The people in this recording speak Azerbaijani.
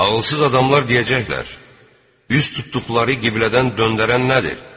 Ağılsız adamlar deyəcəklər: Üz tutduqları qiblədən döndərən nədir?